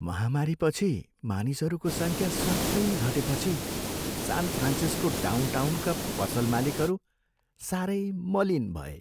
महामारीपछि मानिसहरूको सङ्ख्या स्वात्तै घटेपछि सान फ्रान्सिस्को डाउनटाउनका पसल मालिकहरू साह्रै मलिन भए।